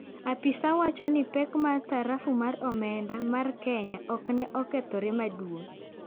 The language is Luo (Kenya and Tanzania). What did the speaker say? Apisa wacho no pek mar sarafu mar omenda mar Kenya okneokethore maduong.